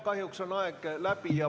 Kahjuks on aeg läbi.